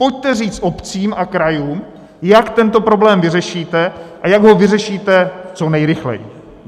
Pojďte říct obcím a krajům, jak tento problém vyřešíte, a jak ho vyřešíte co nejrychleji.